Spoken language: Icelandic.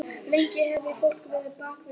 Lengi á eftir fólk á bak við gardínur.